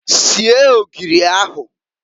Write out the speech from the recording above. Sie ogiri ahụǃ